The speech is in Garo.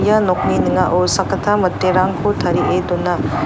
ia nokni ning·ao sakgittam miterangko tarie dona.